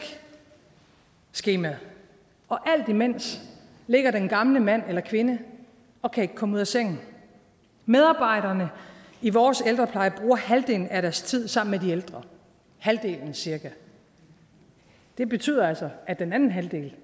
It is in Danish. skemaet og alt imens ligger den gamle mand eller kvinde og kan ikke komme ud af sengen medarbejderne i vores ældrepleje bruger halvdelen af deres tid sammen med de ældre halvdelen cirka det betyder altså at den anden halvdel